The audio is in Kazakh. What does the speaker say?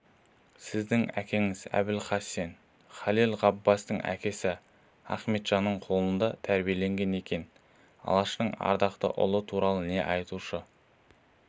сіздің әкеңіз әбілхасен халел ғаббасовтың әкесі ахметжанның қолында тәрбиеленген екен алаштың ардақты ұлы туралы не айтушы